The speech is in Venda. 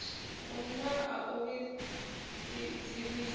hu na a u dzivhisaho